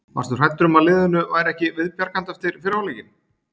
Varstu hræddur um að liðinu væri ekki viðbjargandi eftir fyrri hálfleikinn?